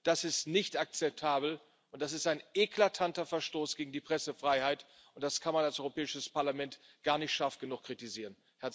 Das ist nicht akzeptabel, und das ist ein eklatanter Verstoß gegen die Pressefreiheit. Das kann man als Europäisches Parlament gar nicht scharf genug kritisieren.